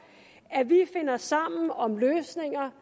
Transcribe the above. at vi finder sammen om løsninger